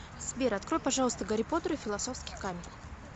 сбер открой пожалуйста гарри поттер и филосовский камень